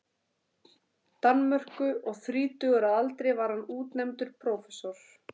Danmörku, og þrítugur að aldri var hann útnefndur prófessor.